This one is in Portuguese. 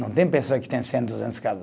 Não tem pessoa que tem cem, duzentas casa.